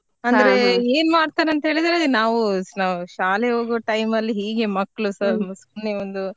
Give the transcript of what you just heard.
ಏನ್ ಮಾಡ್ತಾರೆ ಅಂತ ಹೇಳಿದ್ರೆ ನಾವು ಶಾ~ ಶಾಲೆಗೆ ಹೋಗುವ time ಅಲ್ಲಿ ಹೀಗೆ ಮಕ್ಕಳುಸಾ ಸುಮ್ನೆ ಒಂದು.